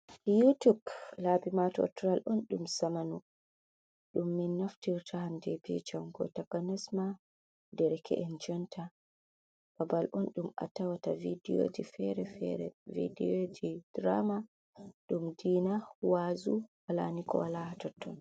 Utuk labimato ttoral on dum samanu, dum min naftirta handb congo ta kanesma ,dereke’en conta babal on dum atawata vidiyoji fere fere vidiyo ji drama dum dina wazu halanikolaha totton.